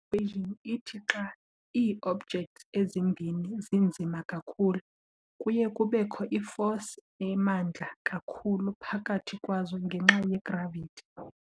I-equation ithi xa ii-objects ezimbini zinzima kakhulu, kuye kubekho i-force emandla kakhulu phakathi kwazo ngenxa ye-gravity.